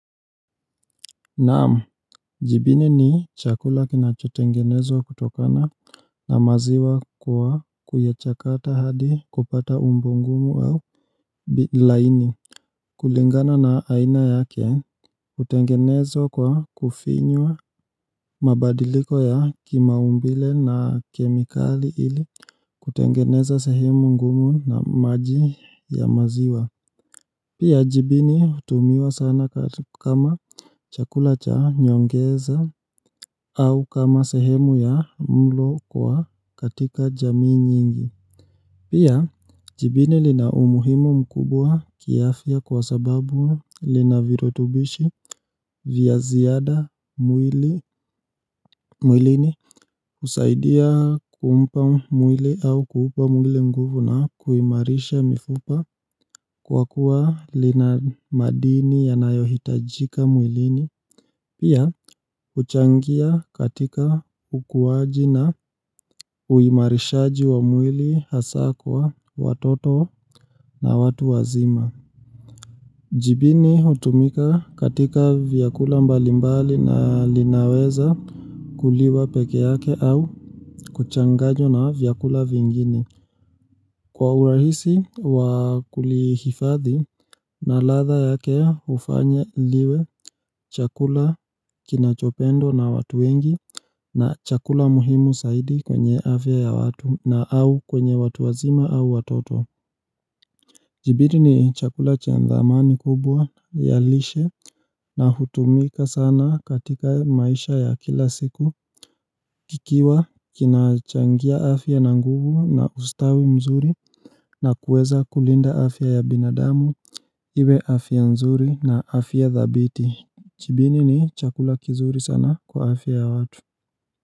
Naamu, jibini ni chakula kinacho tengenezwa kutokana na maziwa kwa kuechakata hadi kupata umbo ngumu au Bilaini, kulingana na aina yake, utengenezwa kwa kufinywa mabadiliko ya kimaumbile na kemikali ili kutengeneza sehemu ngumu na maji ya maziwa Pia jibini utumiwa sana kama chakula cha nyongeza au kama sehemu ya mlo kwa katika jamii nyingi. Pia jibini lina umuhimu mkubwa kiafya kwa sababu linavirutubishi vya ziada mwili mwilini usaidia kumpa mwili au kuupa mwili mguvu na kuimarisha mifupa kwa kuwa lina madini yanayohitajika mwilini Pia huchangia katika ukuwaji na uimarishaji wa mwili hasa kwa watoto na watu wazima Jibini utumika katika vyakula mbalimbali na linaweza kuliwa peke yake au kuchanganywa na vyakula vingine Kwa urahisi wakulihifadhi na latha yake ufanya liwe chakula kinachopendwa na watu wengi na chakula muhimu saidi kwenye afya ya watu na au kwenye watu wazima au watoto. Jibini ni chakula cha dhamani kubwa ya lishe na hutumika sana katika maisha ya kila siku kikiwa kinachangia afya na nguvu na ustawi mzuri na kueza kulinda afya ya binadamu iwe afya nzuri na afya dhabiti Jibini ni chakula kizuri sana kwa afya ya watu.